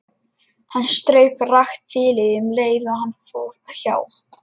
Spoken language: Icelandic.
Hann strauk rakt þilið um leið og hann fór hjá.